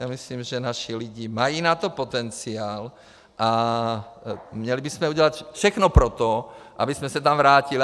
Já myslím, že naši lidé mají na to potenciál, a měli bychom udělat všechno pro to, abychom se tam vrátili.